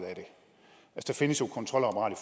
at der findes jo et kontrolapparat